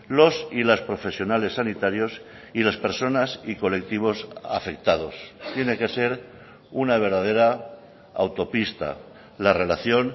los y las profesionales sanitarios y las personas y colectivos afectados tiene que ser una verdadera autopista la relación